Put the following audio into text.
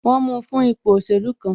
Wọn mu fún ipò òṣèlú kan